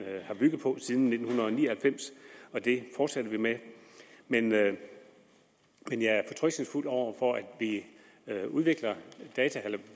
har bygget på siden nitten ni og halvfems og det fortsætter vi med men med men jeg er fortrøstningsfuld over for at vi udvikler